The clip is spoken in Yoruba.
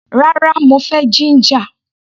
Rárá, mo fẹ́ jíńjà.